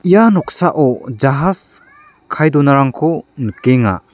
ia noksao jahas kae donarangko nikenga.